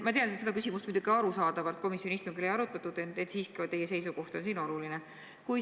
Ma tean, et seda küsimust arusaadavalt komisjoni istungil ei arutatud, ent siiski on teie seisukoht oluline.